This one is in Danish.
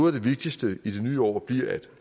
af det vigtigste i det nye år bliver at